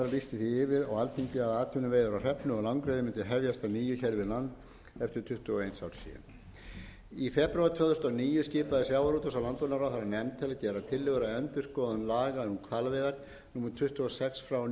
við land eftir tuttugu og eins árs hlé í febrúar tvö þúsund og níu skipaði sjávarútvegs og landbúnaðarráðherra nefnd til að gera tillögur endurskoðun laga um hvalveiðar númer tuttugu og sex nítján hundruð